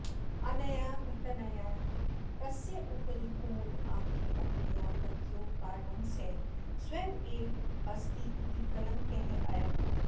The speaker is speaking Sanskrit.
अनया घटनया तस्य उपरि कुमुदाख्यपत्न्याः मृत्योः कारणं सः स्वयम् एव अस्ति इति कलङ्कः अभवत्